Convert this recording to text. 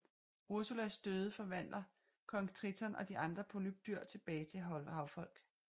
Ursulas døde forvandler kong Triton og de andre polypdyr tilbage til havfolk